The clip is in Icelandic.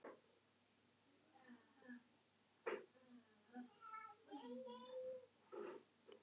Dagmann, einhvern tímann þarf allt að taka enda.